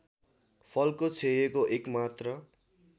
फलको क्षयको एकमात्र